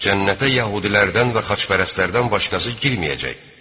Cənnətə yəhudilərdən və xaçpərəstlərdən başqası girməyəcək.